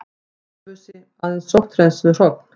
Ölfusi, aðeins sótthreinsuð hrogn.